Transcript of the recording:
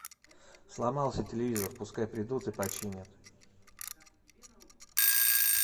сломался телевизор пускай придут и починят